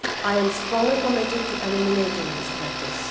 I am strongly committed to eliminating this practice.